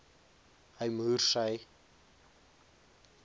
hy moers sy